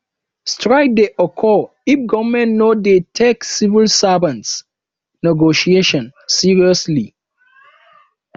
strike de occur if government no de take civil servants negotiation seriously